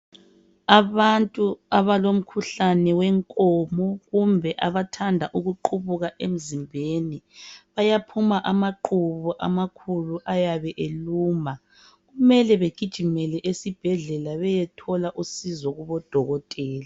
Abantu abalomkhuhlane wenkomo, kumbe abathanda ukuqubuka emzimbeni. Bayaphuma amaqhubu amakhulu ayabe eluma. Kumele bagijimele esibhedlela, Beyethola usizo kubodokotela.